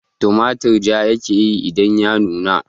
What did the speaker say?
Tumatur ja ya ke yi idan ya nuna